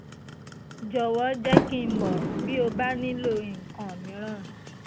jọ̀wọ́ jẹ́ kí n mọ̀ bí o bá nílò nǹkan mìíràn